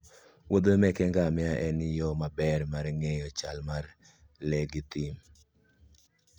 muodhe meke ngamia en yo maber mar ng'eyo chal mar le mag thim.